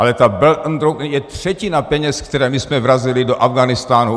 Ale ta Belt and Road je třetina peněz, které my jsme vrazili do Afghánistánu.